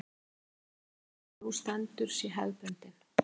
Hlákukaflinn sem nú stendur sé hefðbundinn